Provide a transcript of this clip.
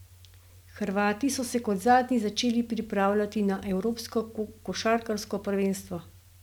Hrvati so se kot zadnji začeli pripravljati na evropsko košarkarsko prvenstvo.